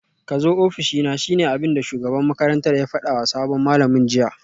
Kazo ofishina shine abinda shugaban makarantar ya fadawa sabon malamin jiya